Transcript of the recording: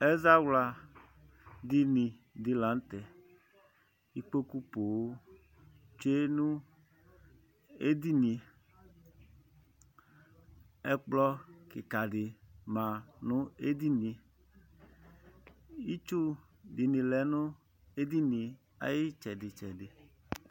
ɛzawla dini di lantɛ ikpoku ponŋ tsue no edinie ɛkplɔ keka di ma no edinie itsu di ni lɛ no edinie ay'itsɛdi tsɛdi